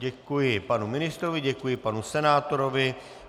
Děkuji panu ministrovi, děkuji panu senátorovi.